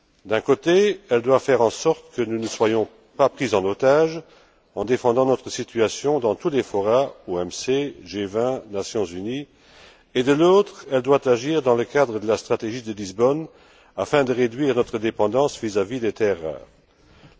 D'un côté, elle doit faire en sorte que nous ne soyons pas pris en otage en défendant notre situation dans tous les forums et de l'autre, elle doit agir dans le cadre de la stratégie de Lisbonne afin de réduire notre dépendance vis à vis des terres rares.